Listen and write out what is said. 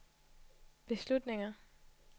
beslutninger